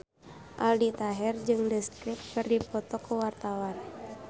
Aldi Taher jeung The Script keur dipoto ku wartawan